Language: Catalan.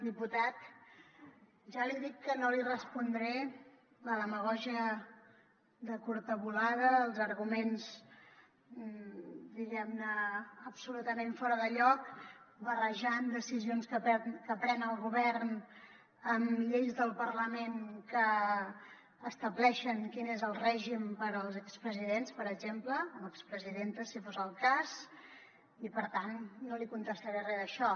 diputat ja li dic que no li respondré la demagògia de curta volada els arguments diguem ne absolutament fora de lloc barrejant decisions que pren el govern amb lleis del parlament que estableixen quin és el règim per als expresidents per exemple o expresidentes si fos el cas i per tant no li contestaré re d’això